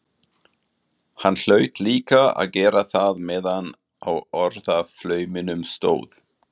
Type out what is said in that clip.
Hann hlaut líka að gera það meðan á orðaflauminum stóð.